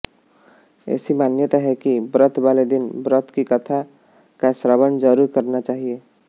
ऐसी मान्यता है कि व्रत वाले दिन व्रत की कथा का श्रवण जरूर करना चाहिए